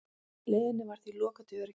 Leiðinni var því lokað til öryggis